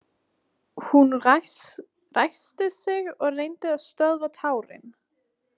Hún ræskti sig og reyndi að stöðva tárin.